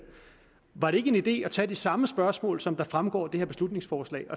var det ikke en idé at tage de samme spørgsmål som fremgår af det her beslutningsforslag